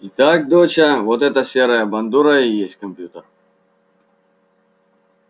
итак доча вот эта серая бандура и есть компьютер